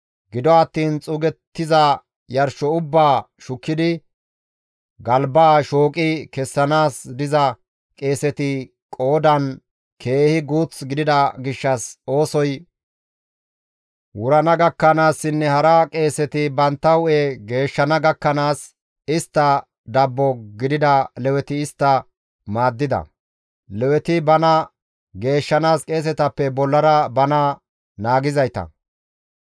Gido attiin xuugettiza yarsho ubbaa shukkidi galbaa shooqi kessanaas diza qeeseti qoodan keehi guuth gidida gishshas oosoy wurana gakkanaassinne hara qeeseti bantta hu7e geeshshana gakkanaas, istta dabbo gidida Leweti istta maaddida. (Leweti bana geeshshanaas qeesetappe bollara bana naagizayta.)